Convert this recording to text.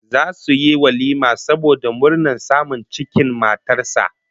Zasu yi walima saboda murnar samun cikin matar sa